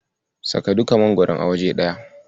Saka duka magwaron a waje ɗaya.